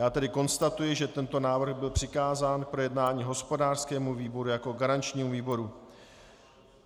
Já tedy konstatuji, že tento návrh byl přikázán k projednání hospodářskému výboru jako garančnímu výboru.